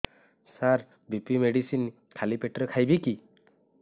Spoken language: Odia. ସାର ବି.ପି ମେଡିସିନ ଖାଲି ପେଟରେ ଖାଇବି କି